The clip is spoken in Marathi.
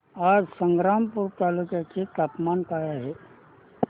आज संग्रामपूर तालुक्या चे तापमान काय आहे